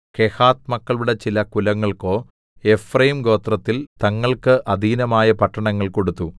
കെഹാത്ത് മക്കളുടെ ചില കുലങ്ങൾക്കോ എഫ്രയീംഗോത്രത്തിൽ തങ്ങൾക്ക് അധീനമായ പട്ടണങ്ങൾ കൊടുത്തു